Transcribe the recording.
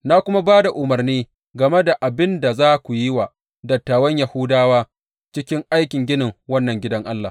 Na kuma ba da umarni game da abin da za ku yi wa dattawan Yahudawa cikin aikin ginin wannan gidan Allah.